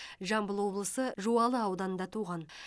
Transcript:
жамбыл облысы жуалы ауданында туған